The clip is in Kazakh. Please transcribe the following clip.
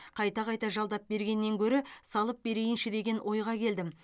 қайта қайта жалдап бергеннен гөрі салып берейінші деген ойға келдім